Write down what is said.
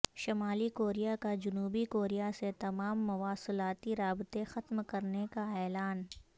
شمالی کوریا کا جنوبی کوریا سے تمام مواصلاتی رابطے ختم کرنے کا اعلان